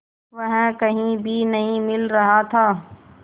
वह कहीं भी नहीं मिल रहा था